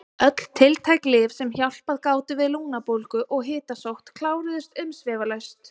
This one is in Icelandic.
Öll tiltæk lyf sem hjálpað gátu við lungnabólgu og hitasótt kláruðust umsvifalaust.